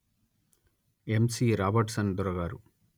యమ్ C Robertson దొర గారు